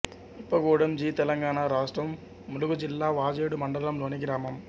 ఇప్పగూడెం జి తెలంగాణ రాష్ట్రం ములుగు జిల్లా వాజేడు మండలంలోని గ్రామం